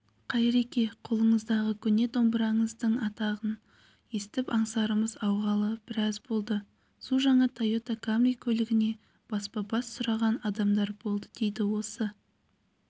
қайреке қолыңыздағы көне домбыраңыздың атағын естіп аңсарымыз ауғалы біраз болды су жаңа тойота камри автокөлігіне баспа-бас сұраған адамдар болды дейді осы